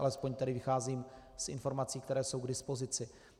Alespoň tedy vycházím z informací, které jsou k dispozici.